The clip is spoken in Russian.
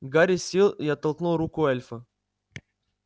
гарри сел и оттолкнул руку эльфа